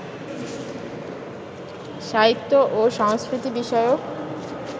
সাহিত্য ও সংস্কৃতি বিষয়ক